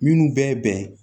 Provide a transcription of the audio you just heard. Minnu bɛɛ ye bɛn ye